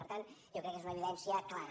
per tant jo crec que és una evidència clara